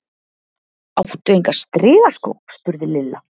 Áttu enga strigaskó? spurði Lilla.